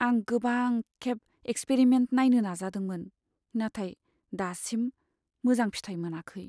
आं गोबांखेब एक्सपेरिमेन्ट नायनो नाजादोंमोन, नाथाय दासिम मोजां फिथाय मोनाखै।